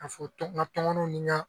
Ka foto n kamɔniw ni ka